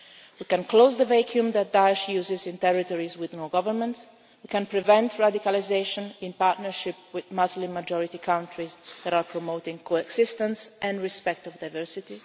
Union. We can close the vacuum that Daesh uses in territories with no government, and we can prevent radicalisation in partnership with Muslim majority countries that are promoting coexistence and respect for